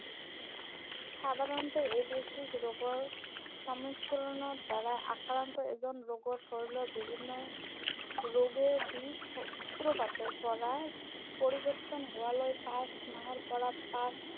সাধাৰণতে এইড্‌ছ ৰোগৰ সংক্ৰমণৰ দ্বাৰা আক্ৰান্ত এজন ৰোগীৰ শৰীৰত বিভিন্ন, ৰোগে দি সূত্ৰপাতৰ পৰা পৰিবৰ্তন হোৱালৈকে পাঁচ মাহৰ পৰা পাঁচ